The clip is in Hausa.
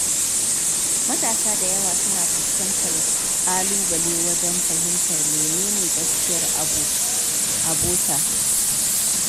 Matasa da yawa suna fuskantar ƙalubale wajen fahimtar menene gaskiyar abota.